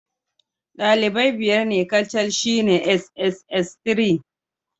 Dalibai biyar ne kacal shine sss3.